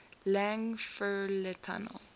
lang fr le tunnel